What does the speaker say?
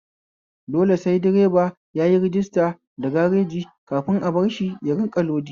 Dole sai direba yayi rajista da gareji kafin a barshi ya rinƙa lodi